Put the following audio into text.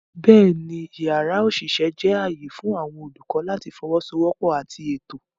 Bẹ́ẹ̀ni, yàrá òṣìṣẹ́ jẹ́ ààyè fún àwọn olùkọ́ láti fọwọ́sowọ́pọ̀ àti ètò.